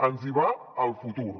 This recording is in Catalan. ens hi va el futur